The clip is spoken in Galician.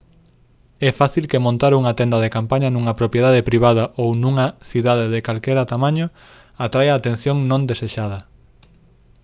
é fácil que montar unha tenda de campaña nunha propiedade privada ou nunha cidade de calquera tamaño atraia atención non desexada